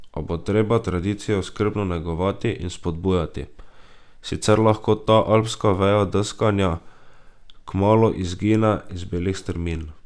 A bo treba tradicijo skrbno negovati in spodbujati, sicer lahko ta alpska veja deskanja kmalu izgine z belih strmin.